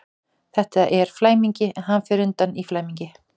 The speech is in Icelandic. Þetta er flæmingi, en fer hann undan í flæmingi?